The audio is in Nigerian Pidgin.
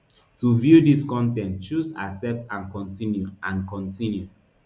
to view dis con ten t choose accept and continue and continue